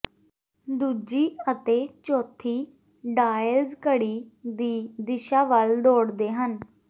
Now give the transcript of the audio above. ਦੂਜੀ ਅਤੇ ਚੌਥੀ ਡਾਇਲਜ਼ ਘੜੀ ਦੀ ਦਿਸ਼ਾ ਵੱਲ ਦੌੜਦੇ ਹਨ